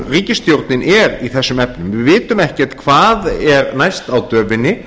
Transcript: ríkisstjórnin er í þessum efnum við vitum ekkert hvað er næst á döfinni